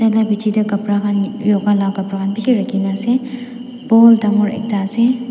piche teh kapra khan loga lah kapra khan bishi rakhi na ase pool dangor ekta ase.